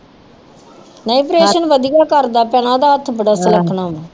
ਨਹੀਂ ਆਪ੍ਰੇਸਨ ਵਧੀਆ ਕਰਦਾ ਭੈਣਾਂ ਓਹਦਾ ਹੱਥ ਬੜਾ ਸੁਲੱਖਣਾ ਆ